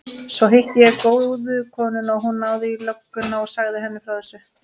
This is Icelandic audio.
Svo hitti ég góðu konuna og hún náði í lögguna og sagði henni frá þessu.